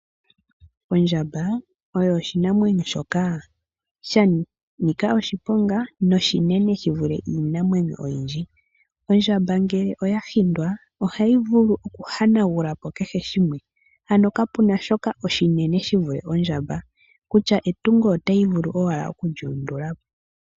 Ondjamba oyo oshinamwenyo shoka shanika oshiponga noshinene shi vule iinamwenyo oyindji. Ondjamba ngele oya hindwa ohayi vulu okuhanagula ko kehe shimwe. Ano ka puna shoka oshinene shi vule ondjamba kutya etungo otayi vulu owala oku li undula po.